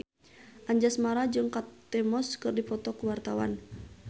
Anjasmara jeung Kate Moss keur dipoto ku wartawan